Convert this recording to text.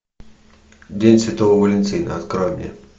день святого валентина открой мне